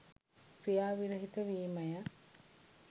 ක්‍රියා විරහිත වීම ය.